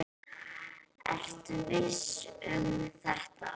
Ertu viss um þetta?